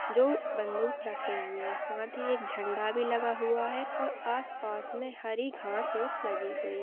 जो बंदूक रखे हुए हैं साथ ही एक झंडा भी लगा हुआ हैं और आस पास मे हरि घास पुस् लगी हुई है।